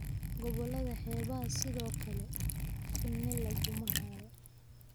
Gobollada xeebaha sidoo kale, shinni laguma hayo